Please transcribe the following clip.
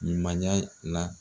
Nin la.